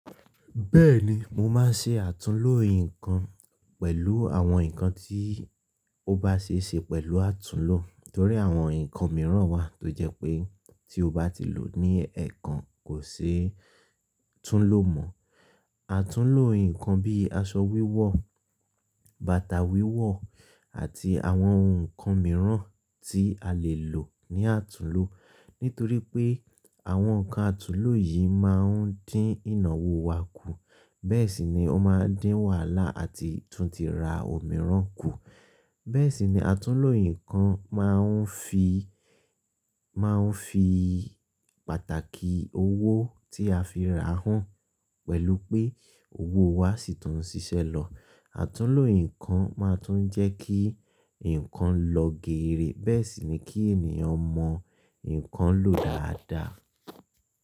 Bẹ́ẹ̀ni mo máa ń ṣe àtúnlo nǹkan pẹ̀lú àwọn nǹkan tí ó bá ṣe ṣe pẹ̀lú àtúnlo. Nítorí àwọn nǹkan mìíràn wà tó jẹ́ pé tí o bá ti lò ní ẹ̀ẹ̀kan kò ṣe é tún lo mọ́. Àtúnlo nǹkan bí aṣọ wíwọ̀, bàtà wíwọ̀ àti àwọn ohun ǹkan mìíràn tí a lè lò ní àtúnlo. Nítorí pé àwọn ǹkan àtúnlo yìí máa ń dín ìnáwó wa kù, bẹ́ẹ̀ sì ni ó máa ń dín wàhálà àti tún ti ra ohun mìíràn kù. Bẹ́ẹ̀ sì ni àtúnlo nǹkan máa ń fi, máa ń fi pàtàkì owó tí a fi rà hàn pẹ̀lú pé owó wa sì tún ń ṣiṣẹ́ lọ. Àtúnlo nǹkan máa tún jẹ́ kí nǹkan lọ geere, bẹ́ẹ̀ sì ni kí ènìyàn mọ nǹkan lò dáadáa.